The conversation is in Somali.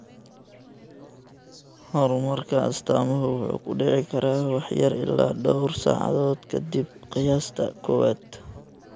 Horumarka astaamuhu wuxuu ku dhici karaa wax yar ilaa dhowr saacadood ka dib qiyaasta koowaad.